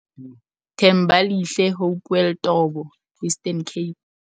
Thembalihle Hopewell Tobo - Eastern Cape